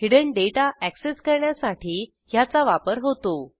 hidden data access करण्यासाठी ह्याचा वापर होतो